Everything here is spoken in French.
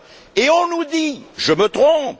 Et on nous dit je me trompe?